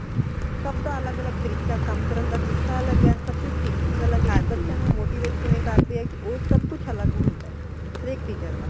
ਸਬ ਦਾ ਅਲੱਗ ਅਲੱਗ ਤਰੀਕਾ ਹੈ ਕਮ ਕਰਨ ਦਾ ਤਰੀਕਾ ਅਲੱਗ ਹੈ ਸਬ ਦੀ thinking ਅਲੱਗ ਹੈ ਕਿ ਬੱਚਿਆਂ ਨੂ motivate ਕਿਵੇਂ ਕਰਦੇ ਹੈ ਓ ਸਬ ਕੁਝ ਅਲੱਗ ਹੁੰਦਾ ਹੈ ਹਰ ਇਕ teacher ਦਾ।